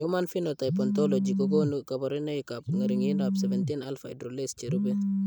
Human Phenotype Ontology kokonu kabarunoikab ng'ering'indoab 17 alpha hydroxylase cherube.